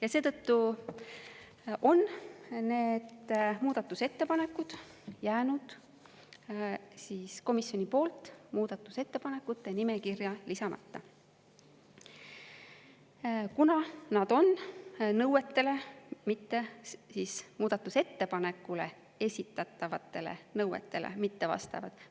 Ja seetõttu on need muudatusettepanekud jäänud komisjoni poolt muudatusettepanekute nimekirja lisamata, kuna nad on muudatusettepanekule esitatavatele nõuetele mittevastavad.